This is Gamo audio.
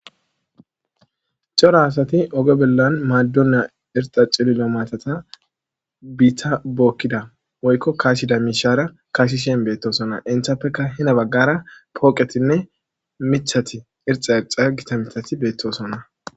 cora asati oge bellan maadonna irxa cililo maatata biita bookkida woykko kaashida mishaara kaashishen beettosonna inthappeka hina baggara pooqetinne mithati irxa axa gita mithati beettosonna